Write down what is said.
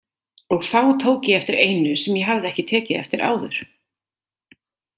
Og þá tók ég eftir einu sem ég hafði ekki tekið eftir áður.